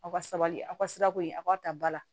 Aw ka sabali aw ka sirako in a k'a ta ba la